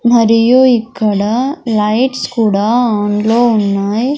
మరియు ఇక్కడ లైట్స్ కూడా ఆన్ లో ఉన్నాయ్.